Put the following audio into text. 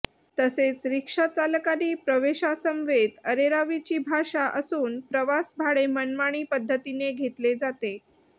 तसेच रिक्षा चालकांची प्रवाशांसमवेत अरेरावीची भाषा असून प्रवास भाडे मनमाणी पद्धतीने घेतले जाते